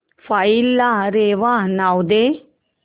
file ला रेवा नाव दे